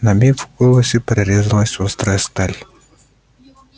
на миг в голосе прорезалась острая сталь